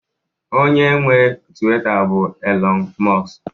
onye nwe Tuweeta bụ Elon musk